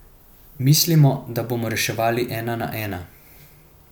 Mislimo, da bomo reševali ena na ena.